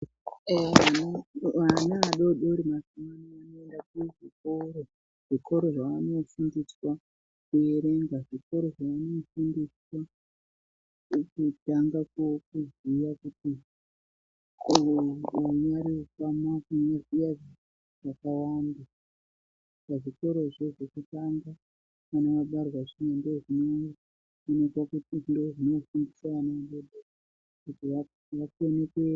Vana vadodoori mazuvaano vakuenda kuchikora zvikoro zvavanofundiswa kuerenga zvikoro zvavanofundiswa vechitanga koziya kunyoresa kutanga kuziya zvakawanda pazvikorazvo zvekutanga kuti vakone kuerenga.